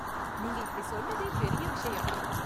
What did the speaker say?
நீங்க இப்படி சொன்னதே பெரிய விஷயம்.